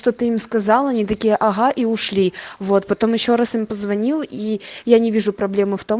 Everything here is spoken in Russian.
что ты им сказал они такие ага и ушли вот потом ещё раз им позвонил и я не вижу проблемы в том